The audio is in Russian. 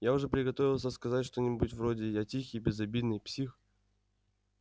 я уже приготовился сказать что-нибудь вроде я тихий безобидный псих